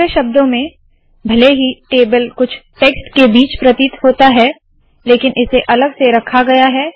दूसरे शब्दों में भले ही टेबल कुछ टेक्स्ट के बीच प्रतीत होता है लेकिन इसे अलग से रखा गया है